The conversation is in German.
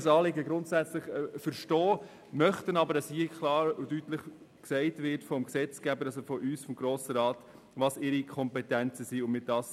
Wir können das Anliegen grundsätzlich verstehen, möchten aber, dass klar und deutlich vom Gesetzgeber – also von uns, vom Grossen Rat – gesagt wird, was ihre Kompetenzen sind.